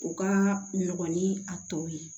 U ka nɔgɔ ni a tɔ ye